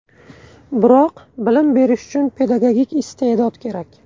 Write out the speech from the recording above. Biroq bilim berish uchun pedagogik iste’dod kerak.